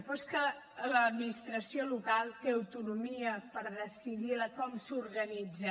però és que l’administració local té autonomia per decidir com s’organitza